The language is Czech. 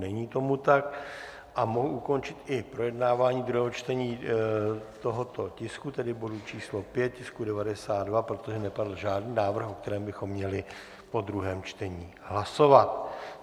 Není tomu tak a mohu ukončit i projednávání druhého čtení tohoto tisku, tedy bodu číslo 5, tisku 92, protože nepadl žádný návrh, o kterém bychom měli po druhém čtení hlasovat.